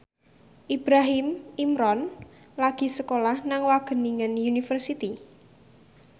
Ibrahim Imran lagi sekolah nang Wageningen University